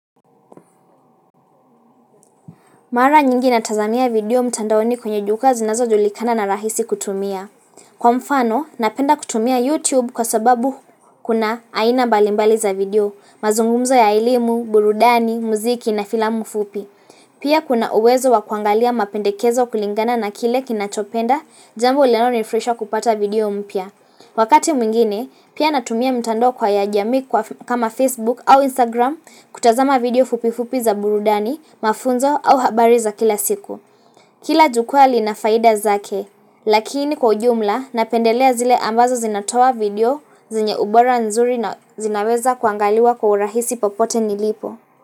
Mara nyingi natazamia video mtandaoni kwenye juka zinazojulikana na rahisi kutumia. Kwa mfano, napenda kutumia YouTube kwa sababu kuna aina mbalimbali za video, mazungumzo ya elimu, burudani, muziki na filamu fupi. Pia kuna uwezo wa kuangalia mapendekezo kulingana na kile kinachopenda, jambo linalonifurahisha kupata video mpya. Wakati mwingine, pia natumia mtando kwa ya jamii kama Facebook au Instagram kutazama video fupifupi za burudani, mafunzo au habari za kila siku. Kila jukwaa linafaida zake, lakini kwa ujumla napendelea zile ambazo zinatoa video zenye ubora nzuri na zinaweza kuangaliwa kwa urahisi popote nilipo.